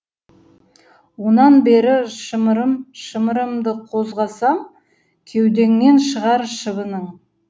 онан бері шымырым шымырымды қозғасам кеудеңнен шығар шыбының